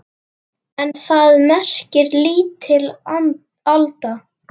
En það merkir lítil alda.